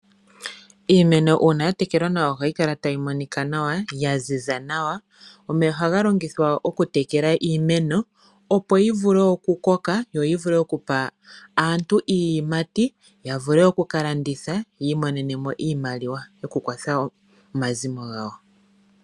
Iimeno uuna ya tekelwa nawa ,ohayi kala tayi monika nawa na oyaziza nawa. Omeya ohaga longithwa oku tekela iimeno opo yi koke yo yi vule oku pa aantu iiyimati, yalandithe yo oyii monene mo iimaliwa yoku kwatha omazimo gawo.